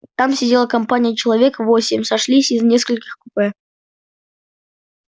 там сидела компания человек восемь сошлись из нескольких купе